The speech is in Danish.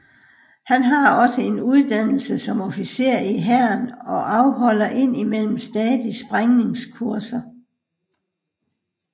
Han har også en uddannelse som officer i hæren og afholder ind imellem stadig sprængningskurser